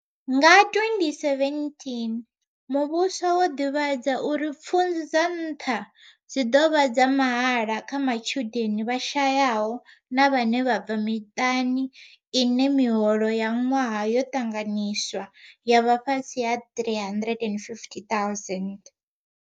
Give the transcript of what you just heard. Nga 2017 muvhuso wo ḓivhadza uri pfunzo dza nṱha dzi ḓo vha dza mahala kha matshudeni vha shayaho na vhane vha bva miṱani ine miholo ya ṅwaha yo ṱanganyiswa ya vha fhasi ha R350 000.